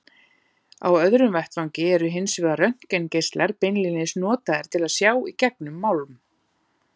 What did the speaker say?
Á öðrum vettvangi eru hins vegar röntgengeislar beinlínis notaðir til að sjá í gegnum málm.